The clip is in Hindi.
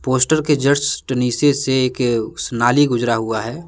पोस्टर के जस्ट नीचे से एक नाली गुजरा हुआ है।